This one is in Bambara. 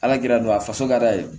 Ala kirin don a faso ka da ye